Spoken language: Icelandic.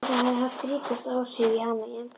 Þetta hafi haft ríkust áhrif á hana í embættinu.